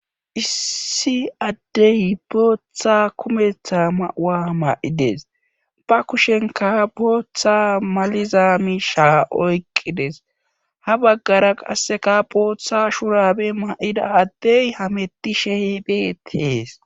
Issi addey booththa kumetha mauwa ma7ides ba kushenka booththa malizaa misha oyqqides ha baggara qasseka booththa shurabe ma7ida addey hameti she beettees.